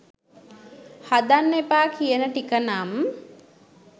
හදන්න එපා කියන ටික නම්